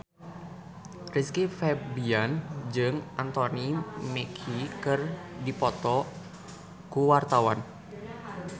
Rizky Febian jeung Anthony Mackie keur dipoto ku wartawan